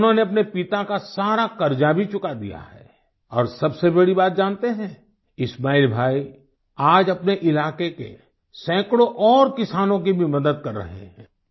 अब तो उन्होंने अपने पिता का सारा कर्जा भी चुका दिया है और सबसे बड़ी बात जानते हैं इस्माइल भाई आज अपने इलाके के सैंकड़ों और किसानों की भी मदद कर रहे हैं